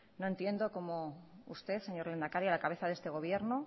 no entiendo como usted señor lehendakari a la cabeza de este gobierno